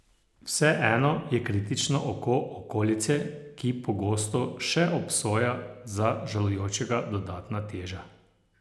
Vseeno je kritično oko okolice, ki pogosto še obsoja, za žalujočega dodatna teža.